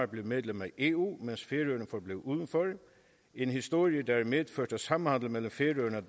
blev medlem af eu mens færøerne forblev udenfor en historie der har medført at samhandelen mellem færøerne